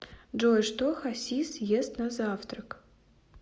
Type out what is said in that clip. джой что хасис ест на завтрак